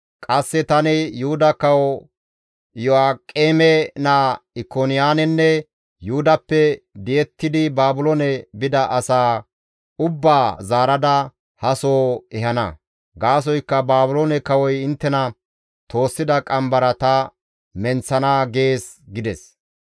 Qasse tani Yuhuda Kawo Iyo7aaqeme naa Ikoniyaanenne Yuhudappe di7ettidi Baabiloone bida asaa ubbaa zaarada ha soho ehana. Gaasoykka Baabiloone kawoy inttena toossida qambara ta menththana› gees» gides.